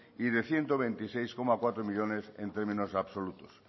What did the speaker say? y de ciento veintiséis coma cuatro millónes en términos absolutos